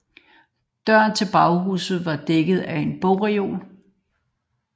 Døren til baghuset var dækket af en bogreol